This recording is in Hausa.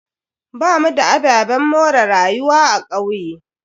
Bamu da ababen more rayuwa a kauye.